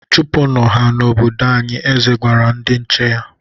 Chụpụnụ ha n'obodo anyị! Eze gwara ndị nche ya.